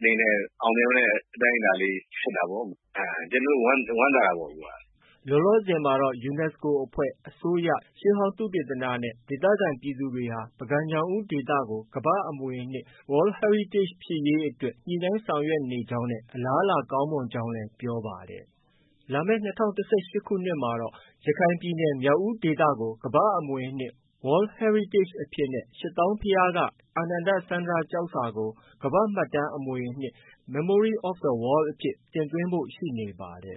အနေနဲ့ အောင်မြင်တဲ့အတိုင်းအတာလေးဖြစ်တာပေါ့။ ကျနော်တို့ ဝမ်းသာတာပေါ့ အခုက။” လောလောဆည်မှာတော့ UNSCO အဖွဲ့၊ အစိုးရ၊ ရှေးဟောင်းသုတေသနနဲ့ ဒေသခံပြည်သူတွေဟာ ပုဂံ-ညောင်ဦးဒေသကို ကမ္ဘာ့အမွေအနှစ် World Heritage ဖြစ်ရေးအတွက် ညှိနှိုင်းဆောင်ရွက်နေကြောင်းနဲ့ အလားအလာကောင်းမွန်ကြောင်းလည်း ပြောပါတယ်။ လာမယ့် ၂၀၁၈ခုနှစ်မှာတော့ ရခိုင်ပြည်နယ်မြောက်ဦးဒေသကို ကမ္ဘာ့အမွေအနှစ် World Heritage အဖြစ်နဲ့ ရှစ်သောင်းဘုရားက အာနန္ဒစန္ဓြကျောက်စာကို ကမ္ဘာ့မှတ်တမ်းအမွေအနှစ် Memory of the Worldအဖြစ် တင်သွင်းဖို့ ရှိနေပါတယ်။